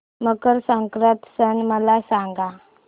मकर संक्रांत सण मला सांगा